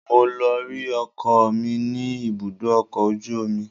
Mo lọ rí ọkọ mi ní ibùdó ọkọ̀ ojú omi